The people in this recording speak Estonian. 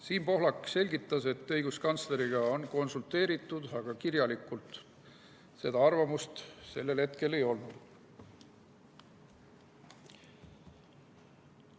Siim Pohlak selgitas, et õiguskantsleriga on konsulteeritud, aga kirjalikult seda arvamust sellel hetkel ei olnud.